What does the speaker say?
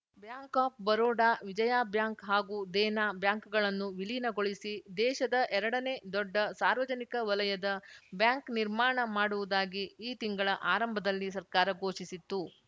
bank of Baroda Vijaya bank ಹಾಗೂ ದೇನಾ ಬ್ಯಾಂಕ್‌ಗಳನ್ನು ವಿಲೀನಗೊಳಿಸಿ ದೇಶದ ಎರಡನೇ ದೊಡ್ಡ ಸಾರ್ವಜನಿಕ ವಲಯದ ಬ್ಯಾಂಕ್‌ ನಿರ್ಮಾಣ ಮಾಡುವುದಾಗಿ ಈ ತಿಂಗಳ ಆರಂಭದಲ್ಲಿ ಸರ್ಕಾರ ಘೋಷಿಸಿತ್ತು